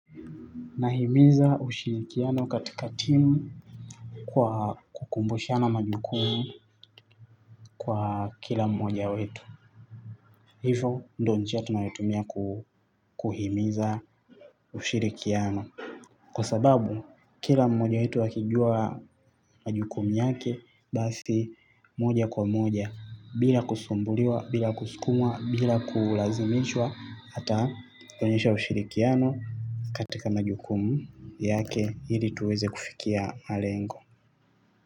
Nahimiza ushirikiano katika timu kwa kukumbushana majukumu kwa kila mmoja wetu. Hivo ndo njia tunayotumia kuhimiza ushirikiano. Kwa sababu kila mmoja wetu akijua majukumu yake basi moja kwa moja bila kusumbuliwa, bila kusukumwa, bila kulazimishwa ata onyesha ushirikiano katika majukumu yake ili tuweze kufikia malengo.